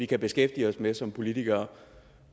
kan beskæftige os med som politikere